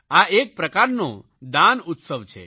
આ એક પ્રકારનો દાન ઉત્સવ છે